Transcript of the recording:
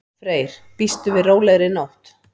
Freyr: Býstu við rólegri nótt?